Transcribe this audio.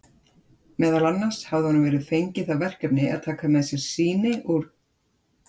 Meðal annars hafði honum verið fengið það verkefni að taka með sér sýni úr